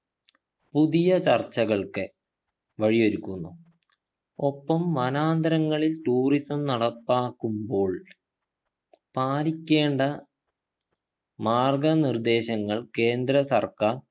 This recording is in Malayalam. പുതിയ ചർച്ചകൾക്ക് വഴിയൊരുക്കുന്നു ഒപ്പം വനാന്തരങ്ങളിൽ tourism നടപ്പാക്കുമ്പോൾ പാലിക്കേണ്ട മാർഗ നിർദേശങ്ങൾ കേന്ദ്ര സർക്കാർ